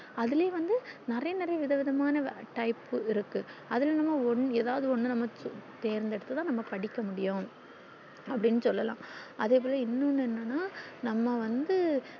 அதுலே வந்து நெறைய நெறைய வித விதமான type இருக்கு அதுல நம்ம ஒன் எதாவுது ஒன்னு நம்ம choose தேர்ந்தெடுத்து தான் படிக்க முடியும் அப்டின்னு சொல்லல்லாம் அதே போல இன்னொன்னு என்னன்னா நம்ம வந்து